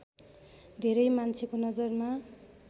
धेरै मान्छेको नजरमा